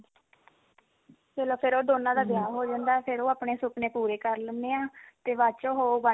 ਚਲੋ ਫਿਰ ਉਹ ਦੋਨਾਂ ਦਾ ਵਿਆਹ ਹੋ ਜਾਂਦਾ ਫਿਰ ਉਹ ਆਪਣੇ ਸੁਪਨੇ ਪੂਰੇ ਕਰ ਲੈਂਦੇ ਆ ਤੇ ਬਾਅਦ ਚ ਉਹ ਉਹ ਬਣ